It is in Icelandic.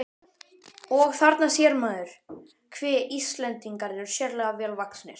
Og: Þarna sér maður, hve Íslendingar eru sérlega vel vaxnir.